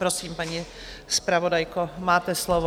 Prosím, paní zpravodajko, máte slovo.